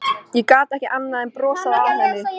Ég gat ekki annað en brosað að henni.